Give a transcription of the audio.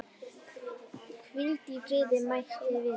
Hvíl í friði mæti vinur.